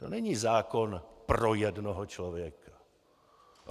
To není zákon pro jednoho člověka.